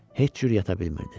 Heç cür yata bilmirdi.